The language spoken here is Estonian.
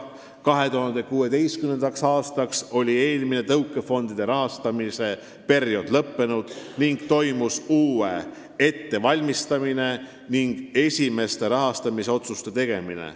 2016. aastaks oli eelmine tõukefondidest rahastamise periood lõppenud ning toimus uue ettevalmistamine ja esimeste rahastamisotsuste tegemine.